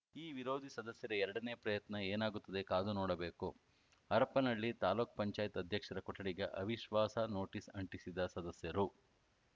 ಈ ವಿರೋಧಿ ಸದಸ್ಯರ ಎರಡನೇ ಪ್ರಯತ್ನ ಏನಾಗುತ್ತದೆ ಕಾದು ನೋಡಬೇಕು ಹರಪನಹಳ್ಳಿ ತಾಲೂಕ್ ಪಂಚಾಯತ್ ಅಧ್ಯಕ್ಷರ ಕೊಠಡಿಗೆ ಅವಿಶ್ವಾಸ ನೋಟಿಸ್‌ ಅಂಟಿಸಿದ ಸದಸ್ಯರು